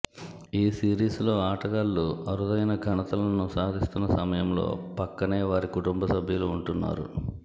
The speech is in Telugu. ఈ సిరిస్లో ఆటగాళ్లు అరుదైన ఘనతలను సాధిస్తున్న సమయంలో పక్కనే వారి కుటుంబసభ్యులు ఉంటున్నారు